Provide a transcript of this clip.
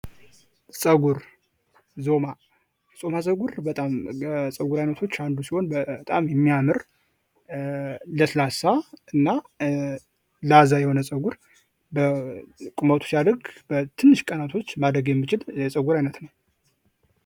ፀጉር፥ ዞማ፦ ዞማ ፀጉር ከፀጉር አይነቶች ውስጥ አንዱ ሲሆን በጣም የሚያምር፥ ለስላሳና፥ ላዛ የሆነ ጸጉር ቁመቱ ሲያድግ በትንሽ ቀኖች ውስጥ የሚያድግ የፀጉር አይነት ነው።